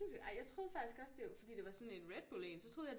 Ej jeg troede faktisk også det fordi det var sådan en Redbull en så troede jeg